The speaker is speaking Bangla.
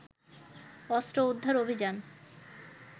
অস্ত্র উদ্ধার অভিযান